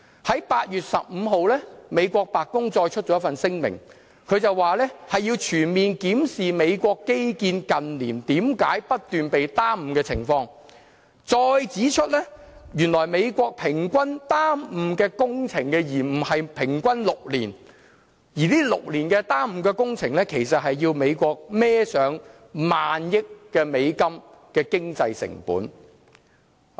在8月15日，美國白宮再發出一份聲明，說要全面檢視美國基建近年為何不斷被耽誤的情況，再指出原來美國工程延誤平均時間是6年，而這6年的工程延誤其實是要美國負上萬億美元的經濟成本。